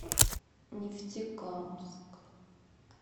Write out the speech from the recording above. нефтекамск